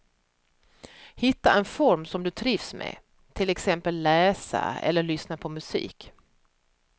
Hitta en form som du trivs med, till exempel läsa eller lyssna på musik.